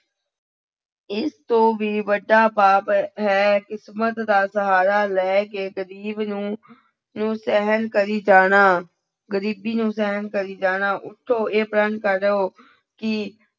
ਇਸ ਤੋਂ ਵੀ ਵੱਡਾ ਪਾਪ ਹੈ ਕਿਸਮਤ ਦਾ ਸਹਾਰਾ ਲੈ ਕੇ ਗ਼ਰੀਬ ਨੂੰ ਨੂੰ ਸਹਿਣ ਕਰੀ ਜਾਣਾ, ਗ਼ਰੀਬੀ ਨੂੰ ਸਹਿਣ ਕਰੀ ਜਾਣਾ, ਉੱਠੋ ਇਹ ਪ੍ਰਣ ਕਰੋ ਕਿ